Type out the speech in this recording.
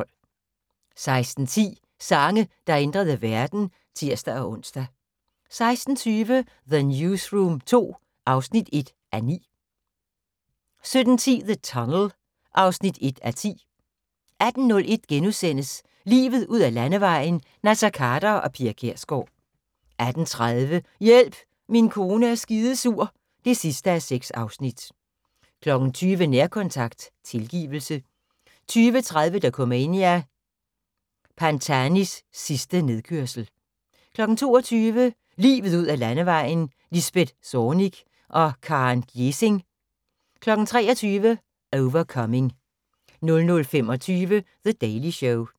16:10: Sange, der ændrede verden (tir-ons) 16:20: The Newsroom II (1:9) 17:10: The Tunnel (1:10) 18:01: Livet ud ad Landevejen: Naser Khader og Pia Kjærsgaard * 18:30: Hjælp, min kone er skidesur (6:6) 20:00: Nærkontakt – tilgivelse 20:30: Dokumania: Pantanis sidste nedkørsel 22:00: Livet ud ad Landevejen: Lisbeth Zornig og Karen Gjesing 23:00: Overcoming 00:25: The Daily Show